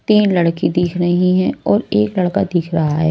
तीन लड़की दिख रही हैं और एक लड़का दिख रहा है।